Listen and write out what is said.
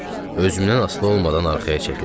Özümdən asılı olmadan arxaya çəkildim.